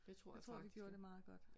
Det tror jeg faktisk